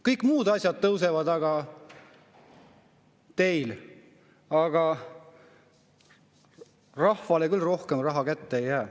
Kõik muud asjad tõusevad teil, aga rahvale küll rohkem raha kätte ei jää.